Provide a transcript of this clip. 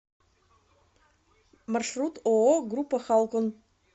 маршрут ооо группа халкон